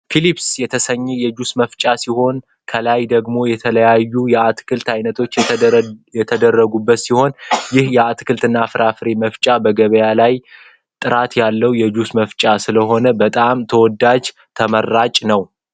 ፊሊፐስ የተሰኜ የጁስ መፍጫ ሲሆን ከላይ ደግሞ የተለያዩ የአትክልት አይነቶች የተደረጉበት ሲሆን። ይህ አትክልትና ፍራፍሬ መፍጫ በገበያ ላይ ጥራት ያለው የጁስ መፍቻ ስለሆነ በጣም ተወዳጅና ተመራጭ ነው።